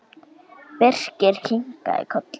Birkir kinkaði kolli.